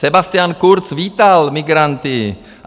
Sebastian Kurz vítal migranty.